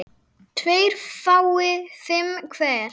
tveir fái fimm hver